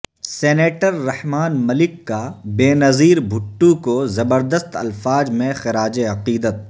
senator Rehman Malik کا Benazir Bhutto کو زبردست الفاظ میں خراج عقیدت